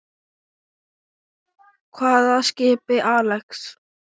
Hvaða skipi, Axel?